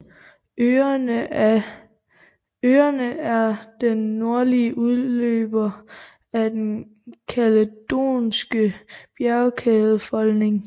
Øerne er den nordlige udløber af den kaledonske bjergkædefolding